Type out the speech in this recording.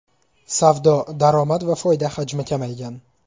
Savdo, daromad va foyda hajmi kamaygan.